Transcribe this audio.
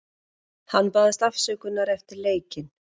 Hann baðst afsökunar eftir leikinn.